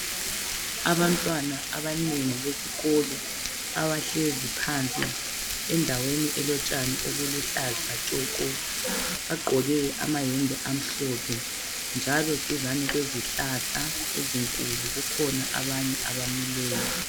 Abantwana abanengi besikolo abahlezi phansi endaweni elotshani obuluhlaza tshoko .Bagqoke amayembe amhlophe .Njalo duzane kwezihlahla ezinkulu kukhona abanye abamileyo .